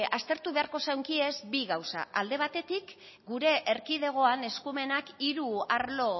aztertu beharko zeunke bi gauza alde batetik gure erkidegoan eskumenak hiru arlo